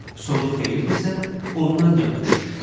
Sonu xeyirdirsə, ondan yapış.